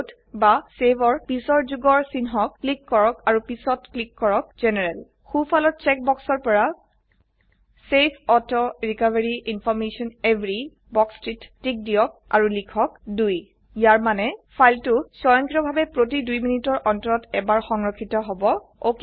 load বা save ৰ পিচৰ যোগৰ চিনহক ক্লিক কৰক আৰু পিছত ক্লিক কৰক জেনাৰেল সোফালৰ ছেক বক্সৰ পৰা save auto recovery information every বাক্সটিত টিক দিয়ক আৰু লিখক 2 ইয়াৰ মানে ফাইলটি সয়ংক্ৰিয়ভাবে প্ৰতি দু মিনিটৰ অন্তৰত এবাৰ সংৰক্ষিত হব